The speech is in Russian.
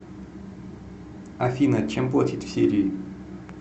афина чем платить в сирии